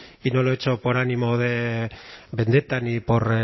y no lo he hecho por ánimo de vendetta ni por